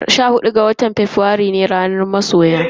Sha hudu ga watan Fabrairu rana ce ta masoya.